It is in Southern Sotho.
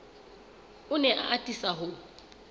o ne a atisa ho